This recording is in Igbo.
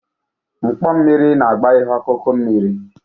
Mkpọ mmiri na-agba ihe ọkụkụ mmiri.